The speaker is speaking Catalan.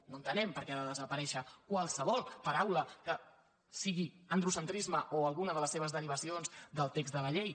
no entenem per què ha de desaparèixer qualsevol paraula sigui androcentrisme o alguna de les seves derivacions del text de la llei